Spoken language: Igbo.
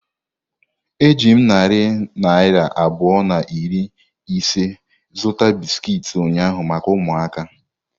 Eji m narị naira abụọ na iri ise zụta bisiki ụnyahụ maka ụmụaka.